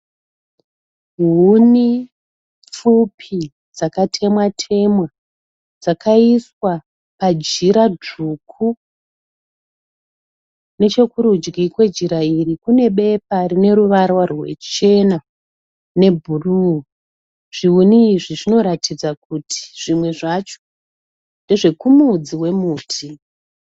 Huni pfupi dzakatemwa temwa dzakaiswa pajira dzvuku. Nechekurudyi kwejira iri kune bepa rine ruvara ruchena nebhuruu. Zvihuni izvi zvinoratidza kuti zvimwe zvacho ndezvekumudzi wemuti.